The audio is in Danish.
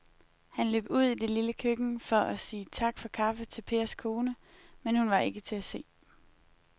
Han løb ud i det lille køkken for at sige tak for kaffe til Pers kone, men hun var ikke til at se.